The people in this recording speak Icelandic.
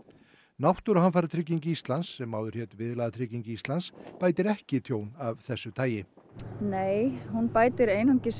náttúruhamfaratrygging Íslands sem áður hét Viðlagatrygging Íslands bætir ekki tjón af þessu tagi nei hún bætir ekki